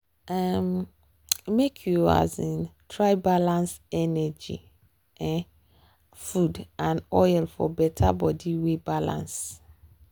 um make you um try balance energy um food and oil for better body wey balance.